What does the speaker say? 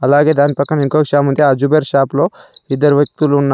అలాగే దాని పక్కన ఇంకో షాపుంది ఆ జుబేర్ షాప్ లో ఇద్దరు వ్యక్తులు ఉన్నా--